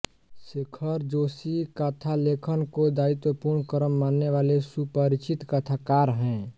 शेखर जोशी कथा लेखन को दायित्वपूर्ण कर्म मानने वाले सुपरिचित कथाकार हैं